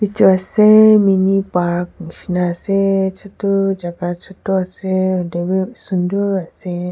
jua ase mini park nisna ase sunder jagah sunder ase hoilibi sundor asi.